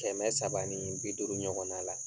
Kɛmɛ saba ni bi duuru ɲɔgɔnna la.